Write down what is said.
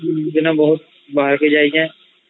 ଦିନ ବହୁତ୍ ବାହାରକୁ ଯାଇଚେ